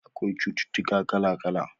Akwai cutuka kala kala